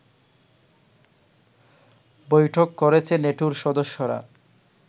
বৈঠক করেছে নেটোর সদস্যরা